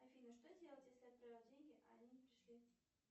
афина что делать если отправил деньги а они не пришли